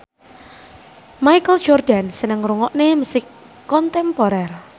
Michael Jordan seneng ngrungokne musik kontemporer